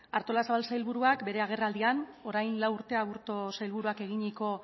artolazabal sailburuak bere agerraldian orain lau urte aburto sailburuak eginiko